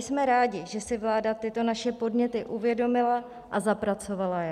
Jsme rádi, že si vláda tyto naše podněty uvědomila a zapracovala je.